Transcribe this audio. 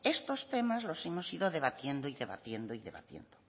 estos temas los hemos ido debatiendo debatiendo y debatiendo